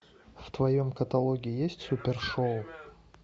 в твоем каталоге есть супер шоу